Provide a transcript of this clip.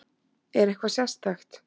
Er eitthvað sérstakt?